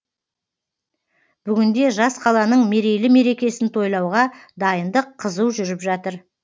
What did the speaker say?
бүгінде жас қаланың мерейлі мерекесін тойлауға дайындық қызу жүріп жатыр